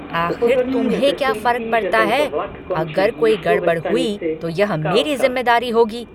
आख़िर तुम्हें क्या फर्क पड़ता है? अगर कोई गड़बड़ हुई तो यह मेरी ज़िम्मेदारी होगी।